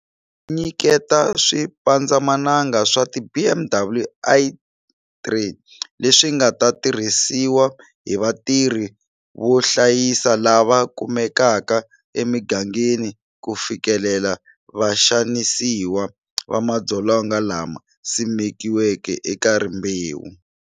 Nyikete swipandzamananga swa ti BMW i3 leswi nga ta tirhisiwa hi vatirhi vo hlayisa lava kumekaka emigangeni ku fikelela vaxanisiwa va madzolonga lama simekiweke eka rimbewu.